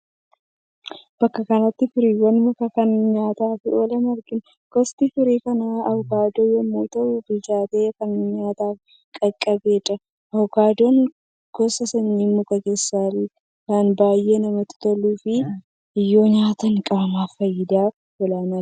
Bakka kanatti firiiwwan mukaa kan nyaataaf oolan argina. Gosti firii kanaa Avokaadoo yommuu ta'u bilchaatee kan nyaataaf qaqqabedha. Avokaadoon gosa sanyii mukaa keessaa lan baay'ee namatti toluu fi yoo nyaatan qaamaaf faayidaa olaanaan kennudha.